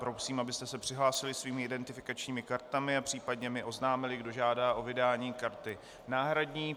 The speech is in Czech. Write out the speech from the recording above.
Prosím, abyste se přihlásili svými identifikačními kartami a případně mi oznámili, kdo žádá o vydání karty náhradní.